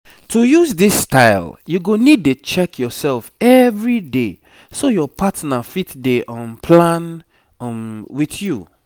to use this style you go need dey check yourself everyday so your partner fit dey um plan um with you